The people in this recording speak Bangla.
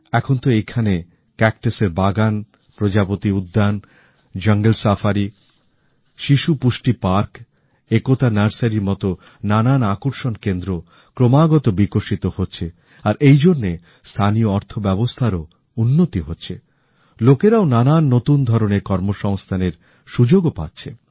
এখন তো ঐখানে ক্যাকটাসের বাগান প্রজাপতি উদ্যান জাঙ্গল সাফারি শিশু পুষ্টি পার্ক একতা নার্সরীর মতন নানান আকর্ষণকেন্দ্র ক্রমাগত বিকশিত হচ্ছে আর এইজন্যে স্থানীয় অর্থব্যবস্থার ও উন্নতি হচ্ছে লোকেরাও নানা নতুন ধরনের কর্মসংস্থানের সুযোগ ও পাচ্ছে